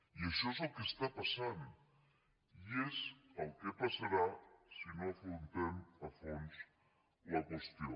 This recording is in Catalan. i això és el que està passant i és el que passarà si no afrontem a fons la qüestió